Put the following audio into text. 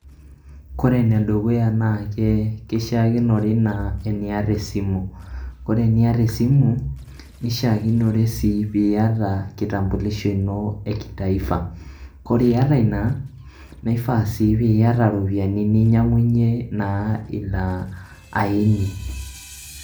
Kore ene dukuya naake kishaakinore naa eniyata esimu, kore eniyata esimu nishaakinore sii piyata kitambulisho [s] ino kitaifa, kore iyata ina na ifaa sii piiyata iropiai ninyang'unye na aini.